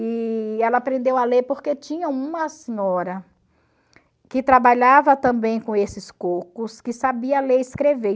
E ela aprendeu a ler porque tinha uma senhora que trabalhava também com esses cocos, que sabia ler e escrever.